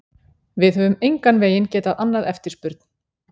Við höfum engan veginn getað annað eftirspurn.